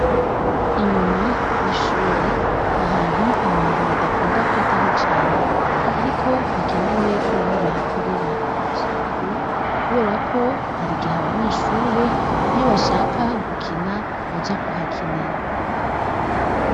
Inyuma ,y'ishure ,nahantu abantu badakunda kwitaho cane. Ariko hakenewe ko naho bahakorera isuku, kubera ko hari gihe abanyeshure iyo bashaka gukina baja kuhakinira.